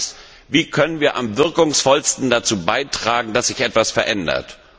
Die Frage ist Wie können wir am wirkungsvollsten dazu beitragen, dass sich etwas verändert?